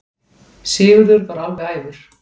Sigurður varð alveg æfur.